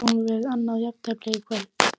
Fáum við annað jafntefli í kvöld?